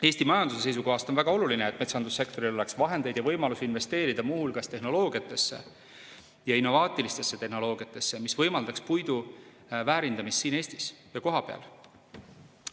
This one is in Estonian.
Eesti majanduse seisukohast on väga oluline, et metsandussektoril oleks vahendeid ja võimalusi investeerida muu hulgas innovaatilistesse tehnoloogiatesse, mis võimaldaks puidu väärindamist siin Eestis kohapeal.